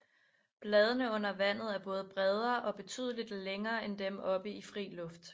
Bladene under vandet er både bredere og betydeligt længere end dem oppe i fri luft